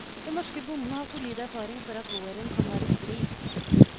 Den norske bonden har solid erfaring for at våren kan være stri.